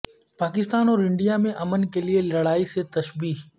پاکستان اور انڈیا میں امن کے لیے لڑائی سے تشبیہ